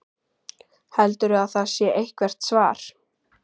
Heldurðu að það sé eitthvert svar?